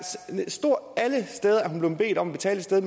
hun blevet bedt om at betale et sted